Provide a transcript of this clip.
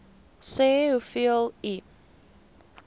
sê hoeveel u